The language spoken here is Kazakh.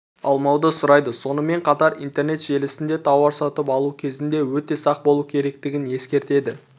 алмауды сұрайды сонымен қатар интернет желісінде тауар сатып алу кезінде өте сақ болу керектігін ескертеді